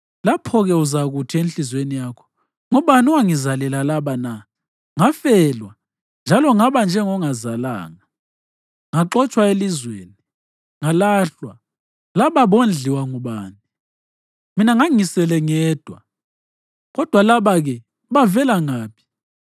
Lapho-ke uzakuthi enhliziyweni yakho, ‘Ngubani owangizalela laba na? Ngafelwa njalo ngaba njengongazalanga; ngaxotshwa elizweni, ngalahlwa. Laba bondliwa ngubani? Mina ngangisele ngedwa, kodwa laba-ke, bavele ngaphi?’ ”